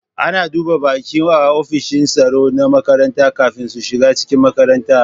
Ana duba baƙi a offishin tsaro na makaranta kafin su shiga cikin makaranta